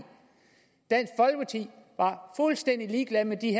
var fuldstændig ligeglad med de